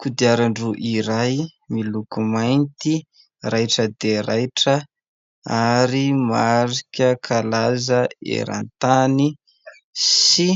Kodiaran-droa iray, miloko mainty, raitra dia raitra, ary marika kalaza eran-tany sy